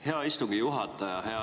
Hea istungi juhataja!